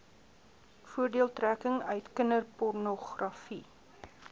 voordeeltrekking uit kinderpornogra